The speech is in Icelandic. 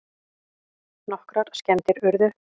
Nokkrar skemmdir urðu